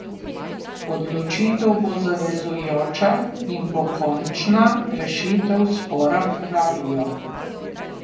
Odločitev bo zavezujoča in bo končna rešitev spora, pravijo.